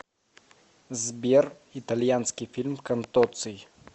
сбер итальянский фильм контоций